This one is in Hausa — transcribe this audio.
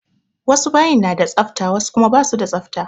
Wasu bayin na da tsafta wasu kuma ba su da tsafta.